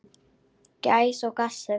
Gæs og gassi.